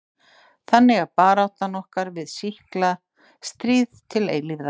Þannig er barátta okkar við sýkla stríð til eilífðar.